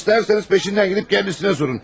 İstərsəniz peşindən gedib kəndisinə sorun.